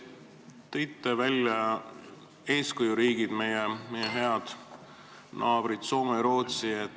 Te tõite välja eeskujuriigid, meie head naabrid Soome ja Rootsi.